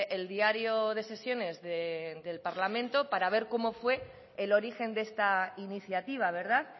el diario de sesiones del parlamento para ver cómo fue el origen de esta iniciativa verdad